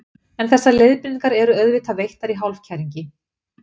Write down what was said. en þessar leiðbeiningar eru auðvitað veittar í hálfkæringi